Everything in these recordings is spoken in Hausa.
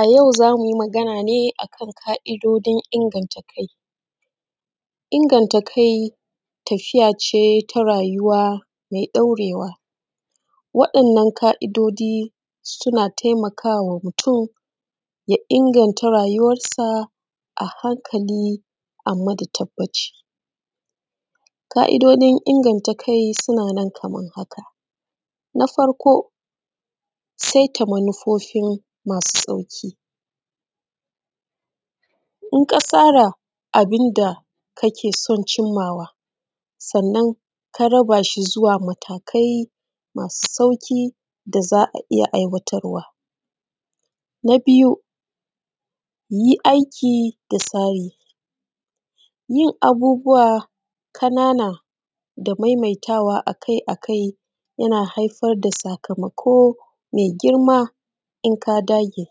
A yau za mu yi magana ne a kan ƙa'idojin inganta kai. Inganta kai tafiya ce ta rayuwa mai ɗaurewa. Wa'innan ƙa'idoji suna taimaka wa mutun ya inganta rayuwansa a hankali, amma da tabbaci. Ƙa'idojin inganta kai suna nan kamar haka. Na farko saita manufofi masu sauƙi. In ka tsara abin da ka ke son cin ma wa sannan ka raba shi zuwa matakai masu sauƙi da za ka iya aiwatarwa. Na biyu yi aiki da tsari. Yin abubuwa ƙanana da maimaitawa akai akai yana haifar da sakamako mai girma in ka dage.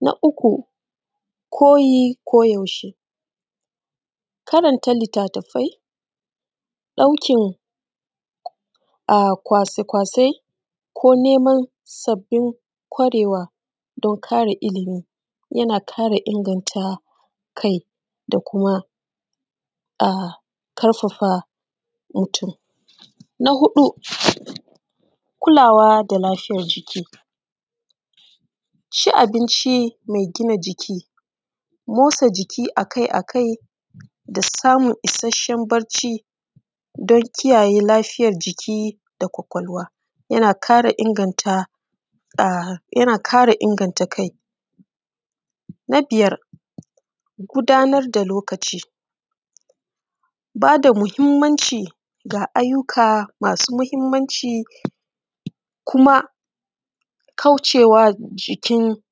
Na uku koyi ko yaushe. Karanta littafi ɗaukan kwasa kwasai ko neman sabbin ƙwarewa don ƙarin illimi yana ƙara inganta kai da kuma ƙarfafa mutun. Na hudu kulawa da lafiyan jiki. Ci abinci mai gina jiki, motsa jiki akai akai da samun isheshen bacci don kiyaye lafiyan jiki da ƙwaƙwalwa yana ƙara inganta kai. Na biyar gudanar da lokaci. Ba da muhimmanci ga ayyuka masu muhimmanci kuma kauce wa jikin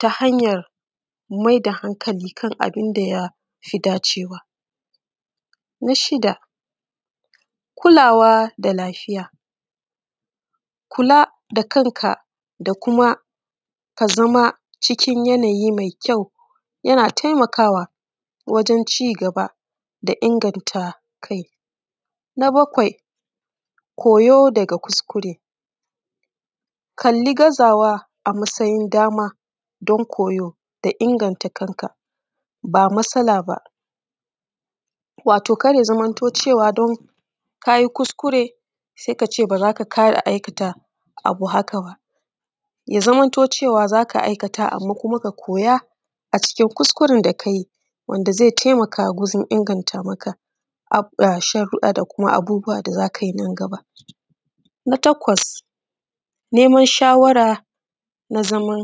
ta hanyar mai da hankali kan abun da ya fi dacewa. Na shida kulawa da lafiya. Kula da kanka da kuma ka zama cikin yanayi mai kyau yana taimakawa wajan cigaba da inganta kai. Na bakwai koyo daga kuskure. Kalli gazawa a matsayin dama don koyo da inganta kan ka ba matsala ba. Wato kar ya zamanto cewa don ka yi kuskure sai ka ce ba za ka ƙara aikata abu haka ba. Ya zamanto cewa za ka aikata amma kuma ka koya a cikin kuskuren da ka yi wanda zai taimaka wajan inganta maka sharuɗɗa da abubuwa da za ka yi nan gaba. Na takwas neman shawara na zaman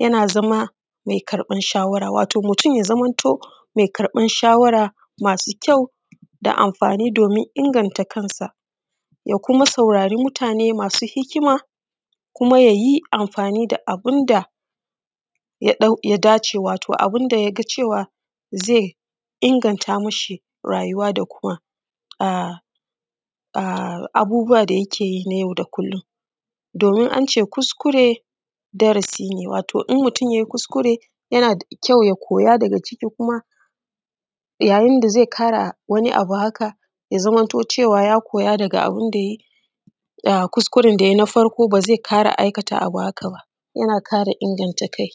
yana zama mai karɓan shawara. Wato mutun ya zamanto mai karɓan shawara masu kyau da amfani domin inganta ta kansa, ya kuma saurare mutane masu hikima kuma yayi amfani da abun da ya dace wato abun da yaga cewa zai inganta ma shi rayuwa da kuma a abubuwa da yake yi na yau da kullum. Domin an ce kuskure darasi ne. Wato in mutun yayi kuskure yana da kyau ya koya daga ciki, kuma yayin da zai ƙara wani abu haka ya zamanto cewa ya koya daga abun da yayi na farko kuskure ba zai ƙara aikata abu haka ba yana ƙara inganta kai.